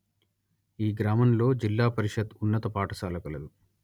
ఈ గ్రామంలో జిల్లా పరిషత్ ఉన్నత పాఠశాల కలదు